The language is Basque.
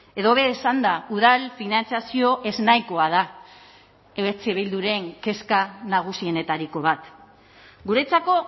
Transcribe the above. edo hobe esanda udal finantzazio ez nahikoa da eh bilduren kezka nagusienetariko bat guretzako